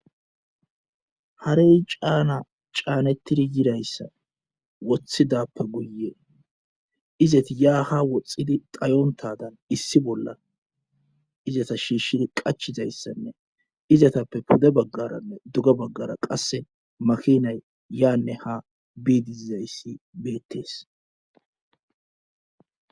harey caana caanettidi yirayssa wothidappe guye izati yaa ha woxxidi dhayontadan issi bolla izata shiishshid qachizayssanne izatappe pude baggaranne duga baggara qase makinay yanne ha bizaysi beettes.